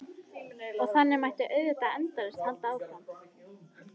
Og þannig mætti auðvitað endalaust halda áfram.